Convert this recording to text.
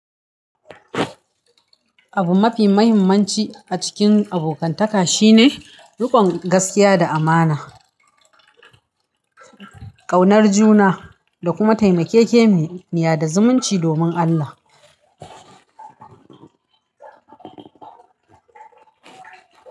Abu mafi muhimmanci a cikin abokantaka shine riƙon gaskiya da amana, ƙaunar juna da kuma taimakeke niyya da zumunci domin Allah.